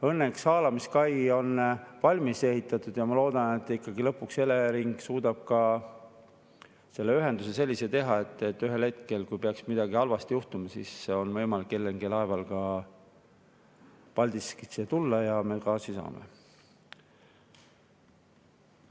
Õnneks haalamiskai on valmis ehitatud ja ma loodan, et ikkagi lõpuks Elering suudab ka selle ühenduse sellise teha, et kui ühel hetkel peaks midagi halba juhtuma, siis on võimalik LNG-laeval Paldiskisse tulla ja me gaasi saame.